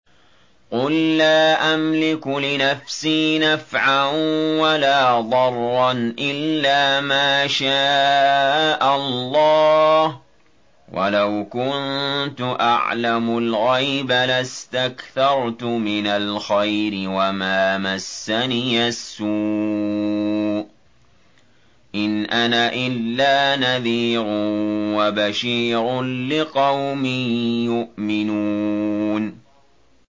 قُل لَّا أَمْلِكُ لِنَفْسِي نَفْعًا وَلَا ضَرًّا إِلَّا مَا شَاءَ اللَّهُ ۚ وَلَوْ كُنتُ أَعْلَمُ الْغَيْبَ لَاسْتَكْثَرْتُ مِنَ الْخَيْرِ وَمَا مَسَّنِيَ السُّوءُ ۚ إِنْ أَنَا إِلَّا نَذِيرٌ وَبَشِيرٌ لِّقَوْمٍ يُؤْمِنُونَ